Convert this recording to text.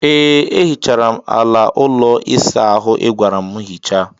Ee, ehichara m ala ụlọ ịsa ahụ ịgwara m hichaa.